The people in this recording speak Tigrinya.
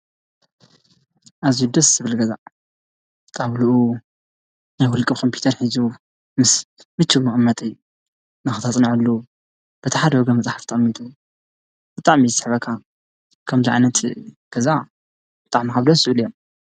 ኣዙይ ደስ ስብል ገዛ ቃውሉኡ ነዂልቂ ኾምፑተር ኂዙ ምስ ምች መቕመጠይ ናኽታጽንዐሉ በታ ሓደ ወገ መፃሕፍ ጠቕሚጡ እጣም ስሕበካ ከም ጃዓነት ገዛ ጣዕሚ ደስለ እያ።